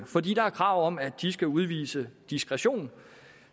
fordi der er krav om at de skal udvise diskretion